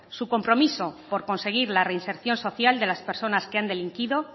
su compromiso por conseguir la reinserción social de las personas que han delinquido